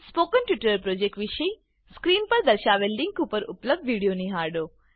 spoken tutorial project વિશે screen પર દર્શાવેલ લીંક પર ઉપલબ્ધ વિડીયો નિહાળો